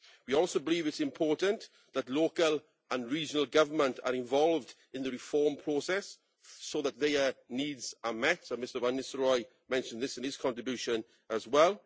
We also believe it is important that local and regional governments are involved in the reform process so that their needs are met Mr van Nistelrooij mentioned this in his contribution as well.